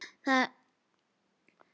Það er að segja, ekki enn.